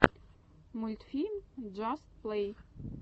мультфильм джаст плэй